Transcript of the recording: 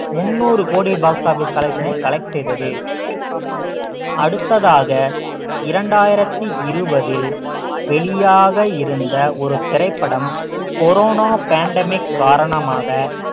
முந்நூறு கோடி box office collection ஐ collect செய்தது அடுத்ததாக இரண்டாயிரத்தி இருபதில் வெளியாக இருந்த ஒரு திரைப்படம் கொரோனா pandemic காரணமாக